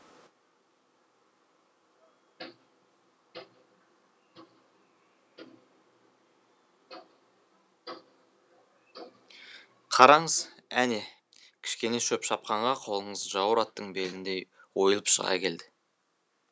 қараңыз әне кішкене шөп шапқанға қолыңыз жауыр аттың беліндей ойылып шыға келді